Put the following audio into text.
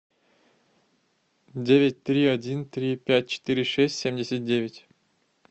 девять три один три пять четыре шесть семьдесят девять